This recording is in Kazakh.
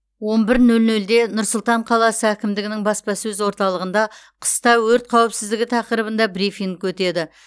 он бір нөл нөлде нұр сұлтан қаласы әкімдігінің баспасөз орталығында қыста өрт қауіпсіздігі тақырыбында брифинг өтеді